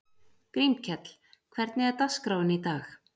Grímkell, hvernig er dagskráin í dag?